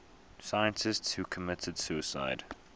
scientists who committed suicide